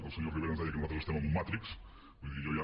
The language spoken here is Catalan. el senyor rivera ens deia que nosaltres estem en un matrix vull dir jo ja